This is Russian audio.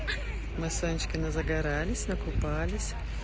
мы с анечкой назагарались накупались